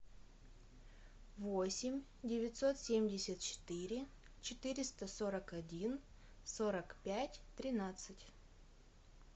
восемь девятьсот семьдесят четыре четыреста сорок один сорок пять тринадцать